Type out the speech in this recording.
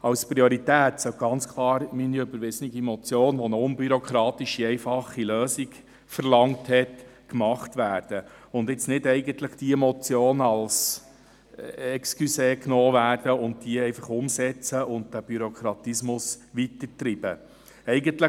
Als Priorität sollte ganz klar meine überwiesene Motion , welche eine unbürokratische, einfache Lösung verlangt hat, umgesetzt werden und eigentlich nicht diese Motion hier als Vorwand genommen werden und dadurch der Bürokratismus weiter angetrieben werden.